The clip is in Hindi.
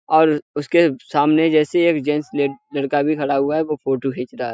और उसके सामने जैसे एक ले जेंट्स लड़का भी खड़ा है वो फोटो खीच रहा है।